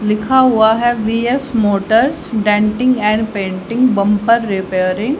लिखा हुआ है BS motors denting and painting bumper repairing --